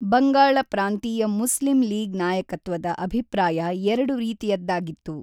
ಬಂಗಾಳ ಪ್ರಾಂತೀಯ Muslim League ನಾಯಕತ್ವದ ಅಭಿಪ್ರಾಯ ಎರಡು ರೀತಿಯದ್ದಾಗಿತ್ತು.